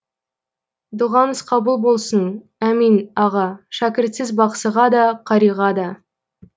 дұғаңыз қабыл болсын әмин аға шәкіртсіз бақсыға да қариға да